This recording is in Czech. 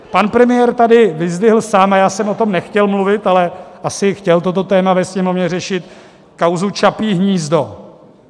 Pan premiér tady vyzdvihl sám, a já jsem o tom nechtěl mluvit, ale asi chtěl toto téma ve Sněmovně řešit, kauzu Čapí hnízdo.